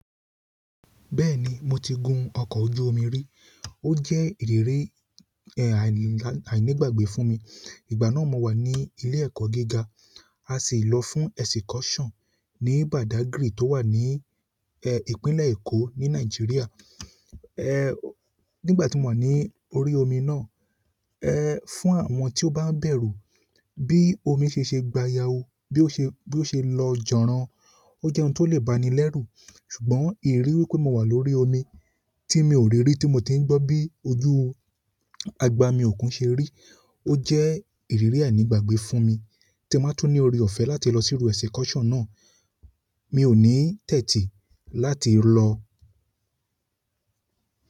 Bẹ́ẹ̀ni mo ti gun ọkọ̀ ojú omi rí. Ó jẹ́ ìrírí, ẹ́, àìní- àìnígbàgbé fún mi. Ìgbà náà mo wà ní ilé ẹ̀kọ́ gíga, a sì lọ fún excursion ní Badagry tó wà ní, ẹ́, ìpínlẹ̀ Èkó ní Nàìjíríà. Ẹ́, nígbà tí mo wà ní orí omi náà, ẹ́, fún àwọn tí ó bá ń bẹ̀rù, bí omi ṣe ṣe gbayawu, bí ó ṣe, bí ó ṣe lọ jọ̀rọ̀, ó jẹ́ ohun tó lè bani lẹ́rù. Ṣùgbọ́n ìrírí pé mo wà lórí omi tí mi ò rí rí tí mo ti ń gbọ́ bí ojú àgbà mi ò kún ṣe rí, ó jẹ́ ìrírí àìnígbàgbé fún mi. Tí ẹ máa tún ní orí ọ̀fẹ́ láti lọ síru excursion náà, mi ò ní tẹ́tí láti lọ.